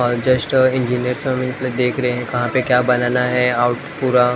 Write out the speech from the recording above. और just engineer सब employee देख रहे हैं कहाँ पे क्या बनाना है आउट पूरा--